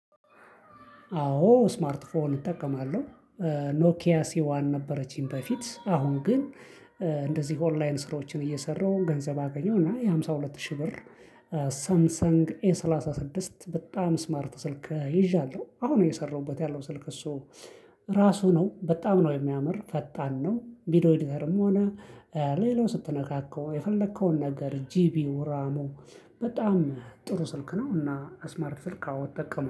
አዎ ስማርት ፎን እጠቀማለሁ ኖኪያሲዋን ነበረችኝ በፊት አሁን ግን እንደዚህ ኦንላይን ስራዎችን እየሰራሁ ገንዘብ አገኘው እና የሃምሳ ሁለት ሺህ ብር። ሳምሰንግ ኤ ሰላሳ ስድስት በጣም ስማርት ስልክ ይዣለሁ አሁን የሰራሁበት ያለው ስልክ እሱ ራሱ ነው በጣም ነው የሚያምር ፈጣን ነው። ቪዲዮ ኤዲተርም ሆነ ሌላው ስትነካከው የፈለከውን ነገር ጂቢ ራሙ። በጣም ጥሩ ስልክ ነውና አስማርት ስልክ አዎ እጠቀማለሁ